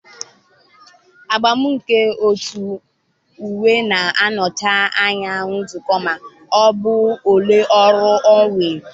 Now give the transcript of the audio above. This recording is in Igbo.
agba nke otu uwe na-anọchi anya nzukọ ma ọ bụ ụlọ ọrụ ọ nwere.